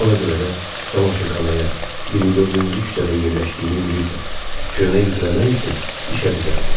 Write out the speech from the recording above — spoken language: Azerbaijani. Ona görə də camaşırxanaya 24-cü küçədə yerləşdiyini bilirsən, köynək ütüləmək üçün işə düzəldim.